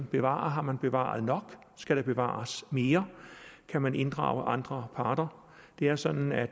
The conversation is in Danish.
bevarer har man bevaret nok skal der bevares mere kan man inddrage andre parter det er sådan at